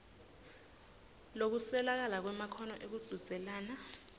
lokuswelakala kwemakhono ekuchudzelana